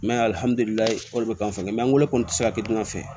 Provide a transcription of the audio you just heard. Mɛ alihamdulilayi o de be k'an fɛ an weele kɔni ti se ka kɛ dunan fɛ